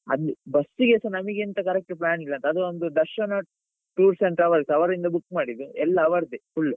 ಅಲ್ಲಿ ಬಸ್ಸಿಗೆಸ ನಮಿಗೆಂತ correct plan ಇಲ್ಲ ಅದೊಂದು ದರ್ಶನ tours and travels ಅವರಿಂದ book ಮಾಡಿದ್ದು ಎಲ್ಲ ಅವರದ್ದೇ full .